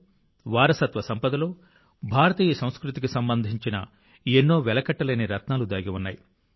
తెలుగు భాషా సాహిత్యంలో వారసత్వ సంపదలో భారతీయ సంస్కృతికి సంబంధించిన ఎన్నో వెలకట్టలేని రత్నాలు దాగి ఉన్నాయి